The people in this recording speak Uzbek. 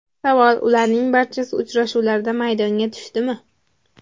Savol: Ularning barchasi uchrashuvlarda maydonga tushdimi?